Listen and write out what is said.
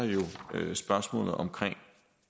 der jo spørgsmålet omkring